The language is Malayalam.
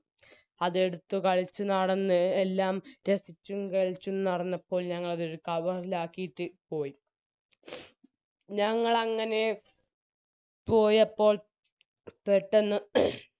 അതെടുത്ത് കളിച്ചുനടന്ന് എല്ലാം രസിച്ചും കളിച്ചും നടന്നപ്പോൾ ഞങ്ങളതൊരു കവറിലാക്കിട്ട് പോയി ഞങ്ങളങ്ങനെ പോയപ്പോൾ പെട്ടന്ന്